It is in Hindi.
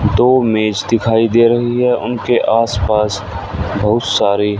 दो मेज दिखाई दे रही हैं उनके आस पास बहुत सारे--